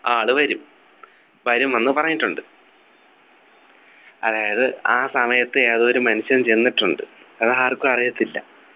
ആള് വരും വരും എന്ന് പറഞ്ഞിട്ടുണ്ട് അതായത് ആ സമയത്ത് ഏതൊരു മനുഷ്യൻ ചെന്നിട്ടുണ്ട് അത് ആർക്കും അറിയത്തില്ല